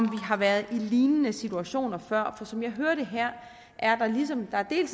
har været i lignende situationer før og som jeg hører det her er der ligesom